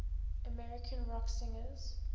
american rock singers